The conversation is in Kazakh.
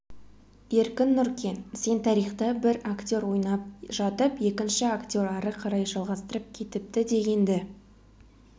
еркін нұркен сен тарихта бір актер ойнап жатып екінші актер ары қарай жалғастырып кетіпті дегенді